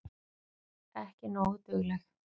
Ekki nógu dugleg.